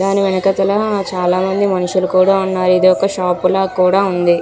దాని వెనుకతల చాలా మంది మనషులు కూడా ఉన్నారు. ఇది ఒక షాప్ లా కూడ ఉంది.